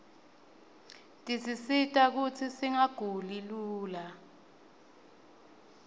tisisita kutsi singaguli lula